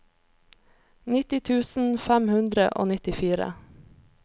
nitti tusen fem hundre og nittifire